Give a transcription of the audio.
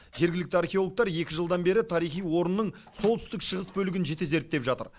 жергілікті археологтар екі жылдан бері тарихи орынның солтүстік шығыс бөлігін жіті зерттеп жатыр